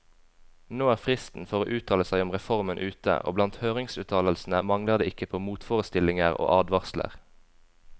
Nå er fristen for å uttale seg om reformen ute, og blant høringsuttalelsene mangler det ikke på motforestillinger og advarsler.